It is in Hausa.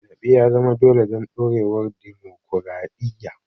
Zaɓe ya zama dole don ɗorewar dimokuradiyya.